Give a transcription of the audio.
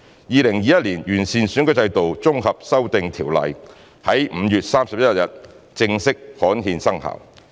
《2021年完善選舉制度條例》在5月31日正式刊憲生效。